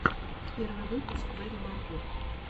первый выпуск мэрри марго